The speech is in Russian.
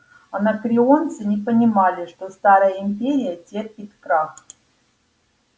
анакреонцы не понимали что старая империя терпит крах